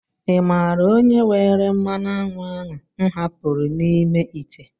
Ị mààra onye were mmanụ aṅụ ahụ m hapụrụ n'ime ite?